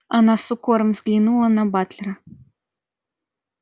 она с укором взглянула на батлера